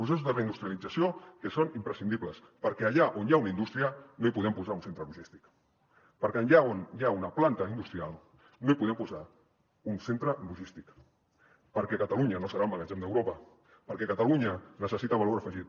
processos de reindustrialització que són imprescindibles perquè allà on hi ha una indústria no hi podem posar un centre logístic perquè allà on hi ha una planta industrial no hi podem posar un centre logístic perquè catalunya no serà el magatzem d’europa perquè catalunya necessita valor afegit